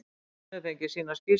Hún hefur fengið sína skýrslu.